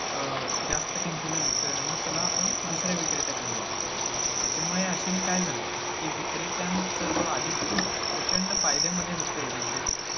अं जास्त किंमतीला विकता येणं, मग चला आपण दुसऱ्या विक्रेत्याकडे जाऊया, त्याच्यामुळे अशाने काय झालं की विक्रेत्यांच जो आधी खूप प्रचंड फायदयामध्ये होते विक्रेते